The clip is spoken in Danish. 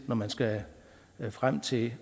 når man skal frem til